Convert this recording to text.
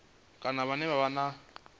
kana vhane vha vha na